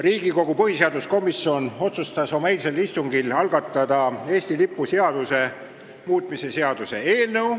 Riigikogu põhiseaduskomisjon otsustas oma eilsel istungil algatada Eesti lipu seaduse muutmise seaduse eelnõu.